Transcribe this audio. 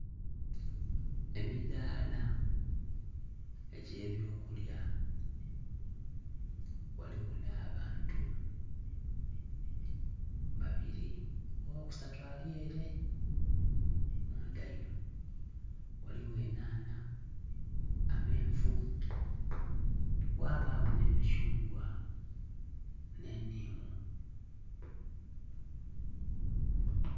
Emidhala egyebyokulya ghaligho nha bantu babiri oghokusatu alyere munda inho ghaligho enhanha, ameenvu ghabagho nhe mikyungwa nhe nhimu